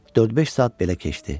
Dörd-beş saat belə keçdi.